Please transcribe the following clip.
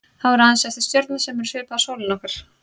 Þá eru aðeins eftir stjörnur sem eru svipaðar sólinni okkar.